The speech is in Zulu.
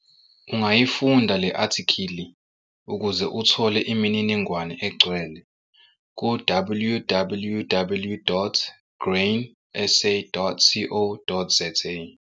Ungayifunda le-athikhili ukuze uthole imininingwane egcwele ku- www.grainsa.co.za.